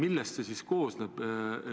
Millest see koosneb?